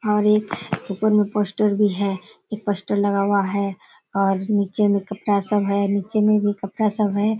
और एक ऊपर में पोस्टर भी है। एक पोस्टर लगा हुआ है और नीचे में कपड़ा सब है और नीचे में भी कपड़ा सब है।